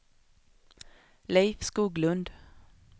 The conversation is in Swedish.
Leif Skoglund